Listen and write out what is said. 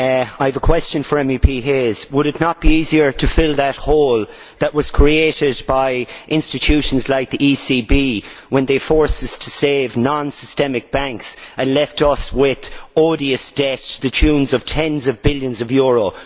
I have a question for Mr Hayes would it not be easier to fill that hole that was created by institutions like the ECB when they forced us to save non systemic banks and left us with odious debt to the tune of tens of billions of euros?